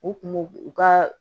U kun m'u u ka